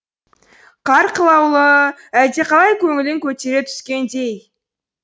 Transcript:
қар қылаулауы әлдеқалай көңілін көтере түскендей